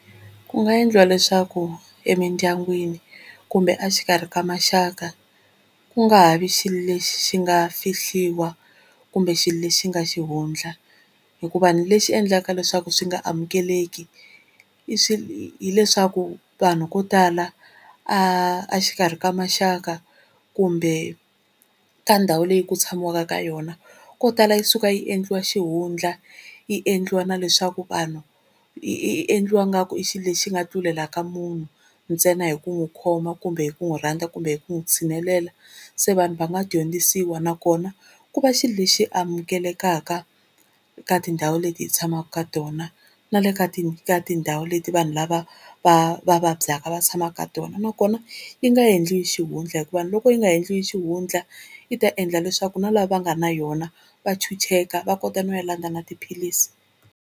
Ku nga endliwa leswaku emindyangwini kumbe a xikarhi ka maxaka ku nga ha vi xilo lexi xi nga fihliwa kumbe xilo lexi nga xihundla, hikuva lexi endlaka leswaku swi nga amukeleki hileswaku vanhu vo tala a a xikarhi ka maxaka kumbe ka ndhawu leyi ku tshamiwaka ka yona ko tala yi suka yi endliwa xihundla yi endliwa na leswaku vanhu yi endliwa nga ku i xilo lexi nga tlulela ka munhu ntsena hi ku n'wi khoma kumbe hi ku n'wi rhandza kumbe hi ku n'wi tshinelela. Se vanhu va nga dyondzisiwa nakona ku va xilo lexi amukelekaka ka tindhawu leti hi tshamaka ka tona na le ka ka tindhawu leti vanhu lava va va vabyaka va tshamaka ka tona nakona yi nga endliwi xihundla hikuva loko yi nga endliwi xihundla yi ta endla leswaku na lava va nga na yona va chucheka va kota no ya landza na tiphilisi.